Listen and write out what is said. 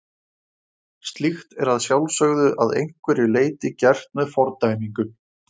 slíkt er að sjálfsögðu að einhverju leyti gert með fordæmingu